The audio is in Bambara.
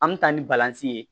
An mi taa ni balanzan ye